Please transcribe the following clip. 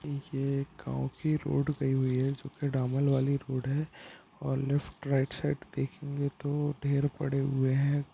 ये एक गाँव की रोड गयी हुई है जोकि डामर वाली रोड है और लेफ्ट राइट साइड देखेंगे तो ढेर पड़े हुए हैं।